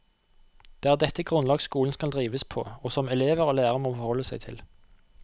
Det er dette grunnlag skolen skal drives på, og som elever og lærere må forholde seg til.